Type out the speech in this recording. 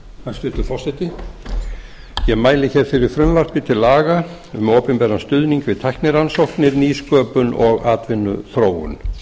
hæstvirtur forseti ég mæli hér fyrir frumvarp til laga um opinberan stuðning við tæknirannsóknir nýsköpun og atvinnuþróun